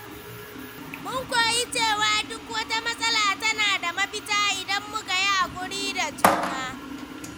Mun koyi cewa duk wata matsala tana da mafita idan muka yi haƙuri da juna.